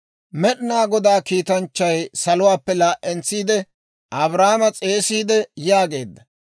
Med'inaa Godaa kiitanchchay saluwaappe laa"entsiide Abrahaama s'eesiide yaageedda;